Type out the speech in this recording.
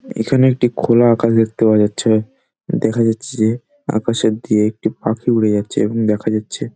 এখানে একটি খোলা আকাশ দেখতে পাওয়া যাচ্ছে দেখা যাচ্ছে আকাশ অব্ধি একটি পাখি উড়ে যাচ্ছে এবং দেখা যাচ্ছে--